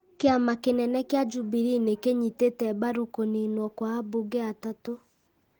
Kĩama kĩnene kĩa Jubilee nĩ kĩanyitĩte mbaru kũniinwo kwa ambunge atatũ ,